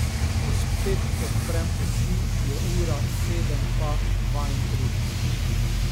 Ko spet odprem oči, je ura sedem pa dvaintrideset.